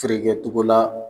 Feere kɛ cogo la.